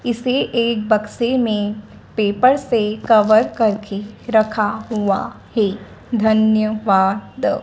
इसे एक बक्से मे पेपर से कवर करके रखा हुआ है धन्यवाद।